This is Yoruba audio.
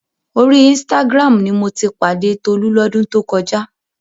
Orí Instagram ni mo ti pàdé Tolú lọ́dún tó kọjá.